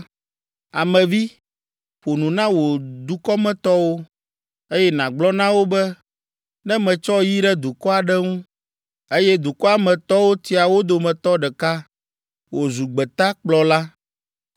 “Ame vi, ƒo nu na wò dukɔmetɔwo, eye nàgblɔ na wo be ne metsɔ yi ɖe dukɔ aɖe ŋu, eye dukɔa me tɔwo tia wo dometɔ ɖeka wòzu gbetakplɔla,